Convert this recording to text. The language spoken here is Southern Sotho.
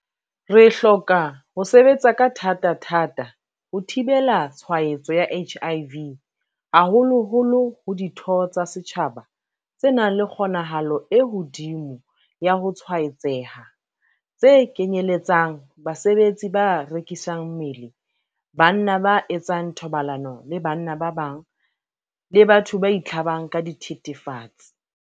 Re hloka ho sebetsa ka thatathata ho thibela tshwaetso ya HIV haholoholo ho ditho tsa setjhaba tse nang le kgonahalo e hodimo ya ho tshwaetseha, tse kenyeletsang basebetsi ba rekisang mmele, banna ba etsang thobalano le banna ba bang, le batho ba itlhabang ka dithethefatsi.